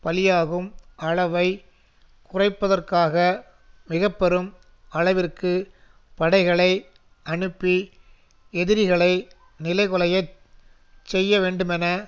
பலியாகும் அளவை குறைப்பதற்காக மிக பெரும் அளவிற்கு படைகளை அனுப்பி எதிரிகளை நிலைகுலைய செய்யவேண்டுமென